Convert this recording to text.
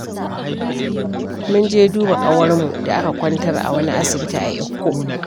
Mun je duba ƙawarmu da aka kwantar a wani Asibiti a Ikko